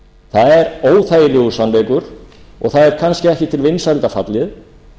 það er óþægilegur sannleikur og það er kannski ekki til vinsælda fallið